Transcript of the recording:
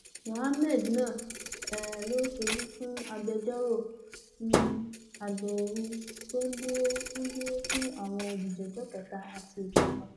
muhammed náà um ló ṣojú fún agbẹjọrò um àgbà ooru tó ń dúró ń dúró fún àwọn olùjẹjọ kẹta àti ìkẹfà